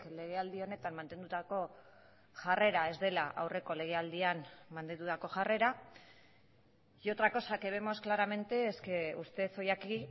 legealdi honetan mantendutako jarrera ez dela aurreko legealdian mantendutako jarrera y otra cosa que vemos claramente es que usted hoy aquí